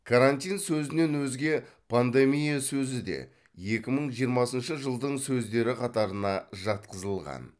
карантин сөзінен өзге пандемия сөзі де екі мың жиымасыншы жылдың сөздері қатарына жатқызылған